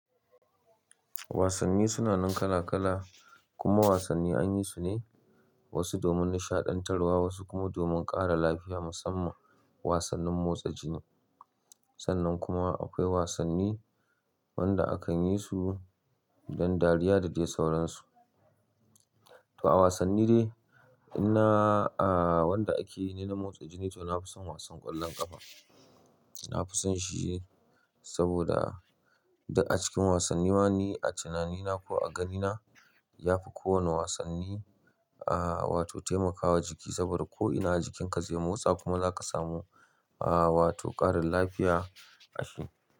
Wasanni suna nan kala kala kuma wasanni an yi su ne wasu domin nishaɗan tarwa, wasu kuma domin ƙara lafiya. Musamman wasannin motsa jini. Sannan kuma akwai wasanni wanda akan yi su dan dariya da dai sauransu. To a wasanni dai, ina a wanda ake yi ne na motsa jini to na fi son wasan ƙwallon ƙafa. Na fi son shi saboda duk a cikin wasanni ma ni a tunanina ko a ganina ya fi kowane wasanni ah wato taimakawa jiki saboda ko ina jikinka zai motsa kuma zaka samu ah wato ƙarin lafiya a shi.